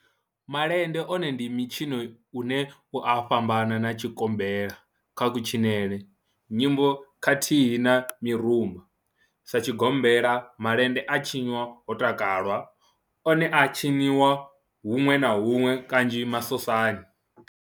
Malende one ndi mitshino une u a fhambana na tshigombela kha kutshinele, nyimbo khathihi na mirumba. Sa tshigombela, malende a tshinwa ho takalwa, one a a tshiniwa hunwe na hunwe kanzhi masosani.